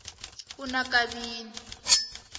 unakabini